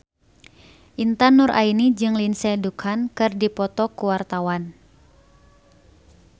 Intan Nuraini jeung Lindsay Ducan keur dipoto ku wartawan